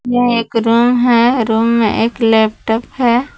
यह एक रूम है रूम में एक लैपटॉप है।